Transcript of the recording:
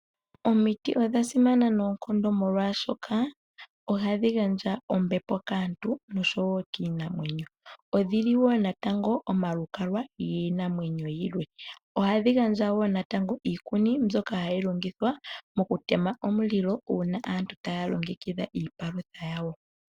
Omiti odhasimana noonkondo molwaashoka ohadhi gandja ombepo kaantu noshowo kiinamwenyo. Odhili woo natango omalukalwa kiinamwenyo yilwe, ohadhi gandja woo natango iikuni mbyoka hayi longithwa mokutema omulilo uuna aantu taya longekidha iipalutha yawo